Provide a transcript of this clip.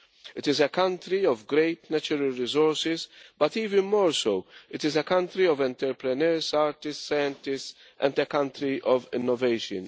It is a country of great natural resources, but even more so, it is a country of entrepreneurs, artists, scientists and a country of innovation.